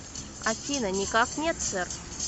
афина никак нет сэр